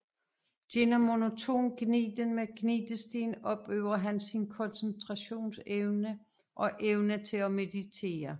Gennem monoton gniden med gnidestenen opøver han sin koncentrationsevne og evne til at meditere